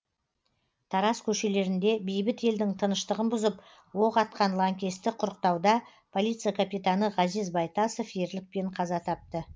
тараз көшелерінде бейбіт елдің тыныштығын бұзып оқ атқан лаңкесті құрықтауда полиция капитаны ғазиз байтасов ерлікпен қаза тапты